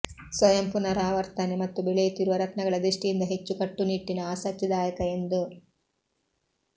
ಸ್ವಯಂ ಪುನರಾವರ್ತನೆ ಮತ್ತು ಬೆಳೆಯುತ್ತಿರುವ ರತ್ನಗಳ ದೃಷ್ಟಿಯಿಂದ ಹೆಚ್ಚು ಕಟ್ಟುನಿಟ್ಟಿನ ಆಸಕ್ತಿದಾಯಕ ಎಂದು